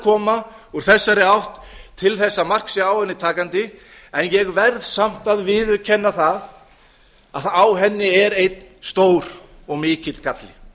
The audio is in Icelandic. koma úr þessari átt til þess að mark sé á henni takandi en ég verð samt að viðurkenna það að á henni er einn stór og mikill galli